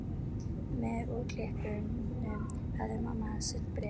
Með úrklippunum hafði mamma hans sent bréf.